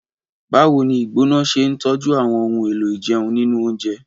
Báwo ni ìgbóná ṣe ń tọ́jú àwọn ohun èlò ìjẹun nínú oúnjẹ?